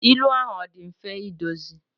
ilu a ọ dị mfe idozi?